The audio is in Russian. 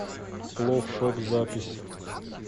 плофф шоп запись